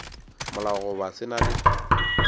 molao goba se na le